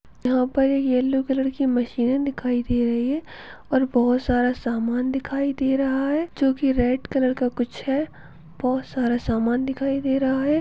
यहाँ पर एक येलो कलर के मशीन दिखाई दे रही है और बहोत सारा सामान दिखाई दे रहा है जो की रेड कलर का कुछ है बहोत सारा समान दिखाई दे रहा है।